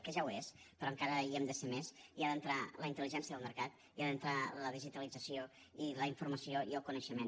que ja ho és però encara hi hem de ser més hi ha d’entrar la intel·ligència al mercat hi ha d’entrar la digitalització i la informació i el coneixement